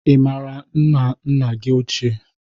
Ị mara nna nna gị ochie?